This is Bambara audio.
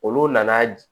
Olu nana